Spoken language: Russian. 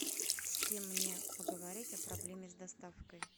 с кем мне поговорить о проблеме с доставкой